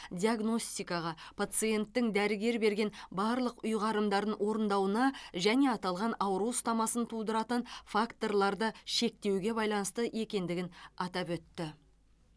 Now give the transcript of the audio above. диагностикаға пациенттің дәрігер берген барлық ұйғарымдарын орындауына және аталған ауру ұстамасын тудыратын факторларды шектеуге байланысты екендігін атап өтті